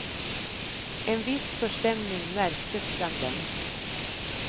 En viss förstämning märktes bland dem.